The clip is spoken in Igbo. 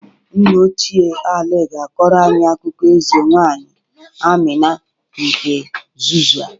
Nna ochie Ali ga-akọrọ anyị akụkọ eze nwaanyị Amina nke Zazzụa.